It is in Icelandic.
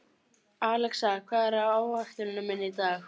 Alexa, hvað er á áætluninni minni í dag?